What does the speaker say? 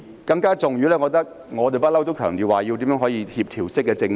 更重要的是，我們一向強調要推行協調式政治。